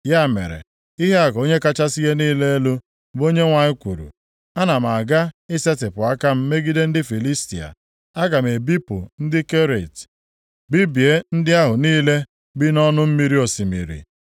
Ya mere, ihe a ka Onye kachasị ihe niile elu, bụ Onyenwe anyị kwuru, ana m aga isetipụ aka m megide ndị Filistia. Aga m ebipụ ndị Keret, bibie ndị ahụ niile bi nʼọnụ mmiri osimiri.